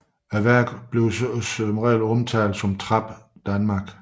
Værket omtales i reglen som Trap Danmark